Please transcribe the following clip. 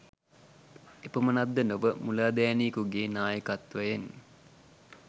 එපමණක් ද නොව මුලාදෑනියකුගේ නායකත්වයෙන්